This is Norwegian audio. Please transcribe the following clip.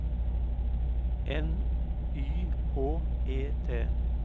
N Y H E T